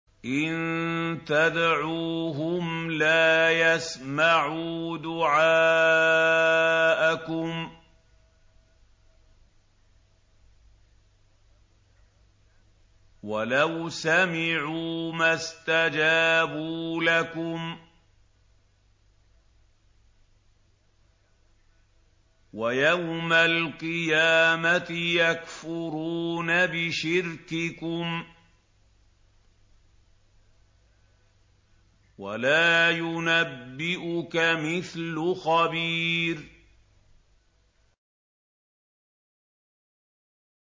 إِن تَدْعُوهُمْ لَا يَسْمَعُوا دُعَاءَكُمْ وَلَوْ سَمِعُوا مَا اسْتَجَابُوا لَكُمْ ۖ وَيَوْمَ الْقِيَامَةِ يَكْفُرُونَ بِشِرْكِكُمْ ۚ وَلَا يُنَبِّئُكَ مِثْلُ خَبِيرٍ